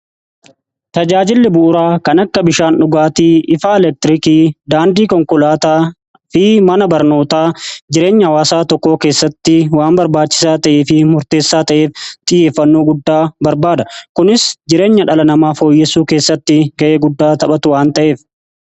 tajaajilli buuraa kan akka bishaan dhugaatii ifaa eleektirikii daandii konkolaataa fi mana barnootaa jireenya waasaa tokkoo keessatti waan barbaachisaa ta'ee fi murteessaa ta'eef xihieffannoo guddaa barbaada kunis jireenya dhala namaa fooyyesuu keessatti ga'ee guddaa taphatu waan ta'eef